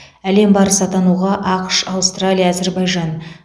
әлем барысы атануға ақш аустралия әзербайжан